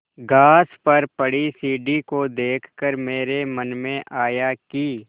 घास पर पड़ी सीढ़ी को देख कर मेरे मन में आया कि